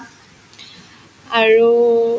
আৰু